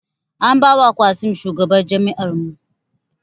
An ba wa Qassim shugaban jami; ar mu